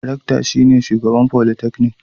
Rectar shine shugaban folytecnik.